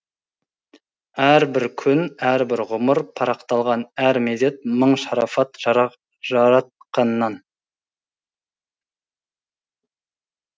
әрбір күн әрбір ғұмыр парақталған әр мезет мың шарафат жаратқаннан